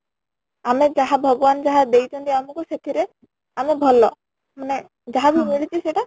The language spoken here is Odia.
ଆମେ ଯାହା ଭଗବାନ ଯାହା ଦେଇ ଛନ୍ତି ଆମକୁ ସେଥିରେ ଆମ ଭଲ ମାନେ ଯାହା ବି ସେଇଟା